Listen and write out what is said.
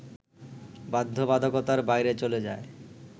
বাধ্যবাধকতার বাইরে চলে যায়